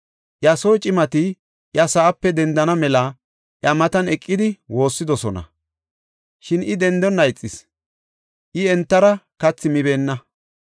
Iya soo cimati iya sa7ape dendana mela iya matan eqidi woossidosona; shin I dendonna ixis; I entara kathi mibeenna.